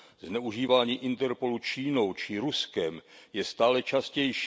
Zneužívání Interpolu Čínou či Ruskem je stále častější.